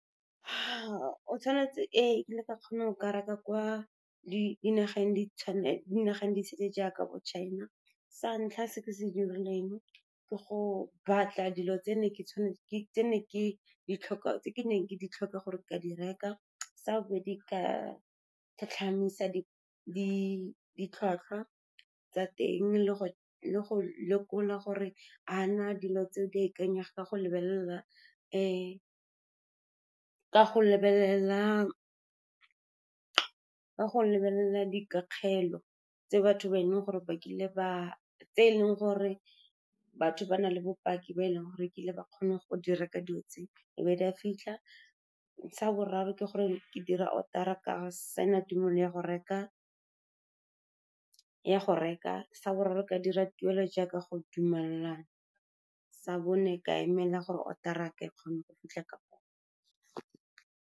Ee, ekile ka kgona go reka kwa dinageng di sele jaaka bo China. Sa ntlha se ke se dirileng ke go batla dilo tse ke neng ke di tlhoka gore ka di reka. Sa bobedi ke ka tlhatlhamisa ditlhwatlhwa tsa teng le go lekola gore a na dilo tse di ikanyegang ka , ka go lebelela dikakgelo tse eleng gore batho ba na le bopaki ba e leng gore kile ba kgone go di reka dilo tse, e be di a fitlha. Sa boraro ke gore ke dira order-a, ka sign-a tumelo ya go reka. Sa boraro ke dira tuelo jaaka go dumellwa, sa bone ka emela gore order-a yaka e kgone go fitlha ka.